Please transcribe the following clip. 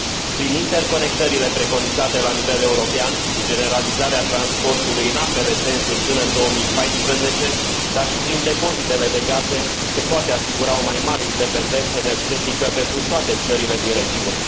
Prin interconectările preconizate la nivel european, cu generalizarea transportului în ambele sensuri până în 2014, dar și prin depozitele de gaze, se poate asigura o mai mare independență energetică pentru toate țările din regiune.